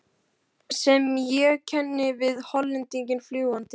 sem ég kenni við Hollendinginn fljúgandi.